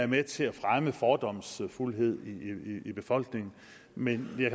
med til at fremme fordomsfuldhed i befolkningen man jeg